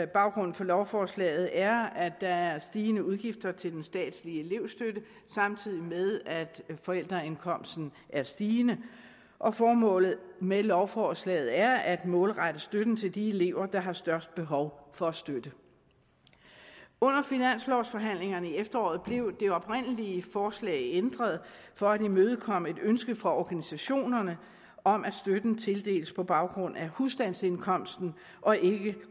baggrunden for lovforslaget er at der er stigende udgifter til den statslige elevstøtte samtidig med at forældreindkomsten er stigende og formålet med lovforslaget er at målrette støtten til de elever der har størst behov for støtte under finanslovforhandlingerne i efteråret blev det oprindelige forslag ændret for at imødekomme et ønske fra organisationerne om at støtten tildeles på baggrund af husstandsindkomsten og ikke